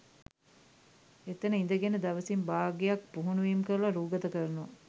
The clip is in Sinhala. එතන ඉඳගෙන දවසින් භාගයක් පුහුණුවීම් කරල රූගත කරනවා